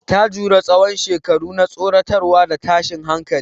Ta jure tsawon shekaru na tsoratarwa da tashin hankali.